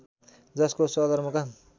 जसको सदरमुकाम